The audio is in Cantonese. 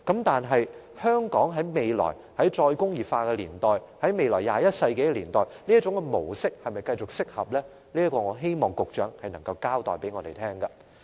但是，在"再工業化"年代或21世紀年代，香港是否適合繼續採用這種模式，我希望局長就這一點向我們交代。